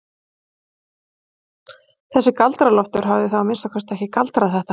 Þessi Galdra-Loftur hafði þá að minnsta kosti ekki galdrað þetta.